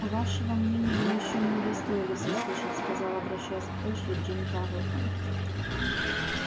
а вашего мнения мы ещё не удостоились услышать сказал обращаясь к эшли джим тарлтон